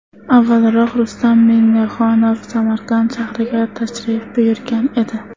Avvalroq Rustam Minnixonov Samarqand shahriga tashrif buyurgan edi .